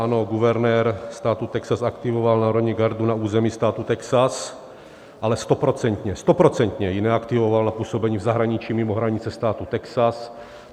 Ano, guvernér státu Texas aktivoval národní gardu na území státu Texas, ale stoprocentně, stoprocentně ji neaktivoval na působení v zahraničí, mimo hranice státu Texas.